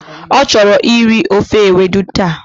O choro iri ofe ewedú ta.